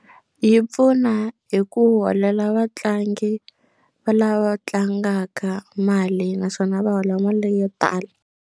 Yi pfuna hi ku holela vatlangi va lava tlangaka mali naswona va hola mali yo tala.